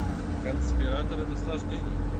конспираторы наслаждений